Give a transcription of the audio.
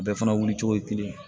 Bɛɛ fana wuli cogo ye kelen ye